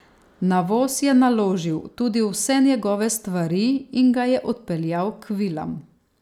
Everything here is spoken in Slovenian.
Na voz je naložil tudi vse njegove stvari in ga je odpeljal k vilam.